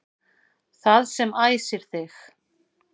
Það sem æsir þig